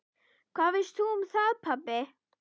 Hvað veist þú um það, pabbi?